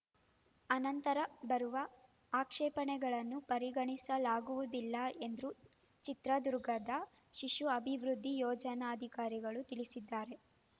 ಅನಂತರ ಬರುವ ಆಕ್ಷೇಪಣೆಗಳನ್ನು ಪರಿಗಣಿಸಲಾಗುವುದಿಲ್ಲ ಎಂದು ಚಿತ್ರದುರ್ಗದ ಶಿಶು ಅಭಿವೃದ್ಧಿ ಯೋಜನಾಧಿಕಾರಿಗಳು ತಿಳಿಸಿದ್ದಾರೆ